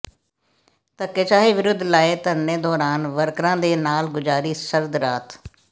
ਧੱਕੇਸ਼ਾਹੀ ਵਿਰੁੱਧ ਲਾਏ ਧਰਨੇ ਦੌਰਾਨ ਵਰਕਰਾਂ ਦੇ ਨਾਲ ਗੁਜ਼ਾਰੀ ਸਰਦ ਰਾਤ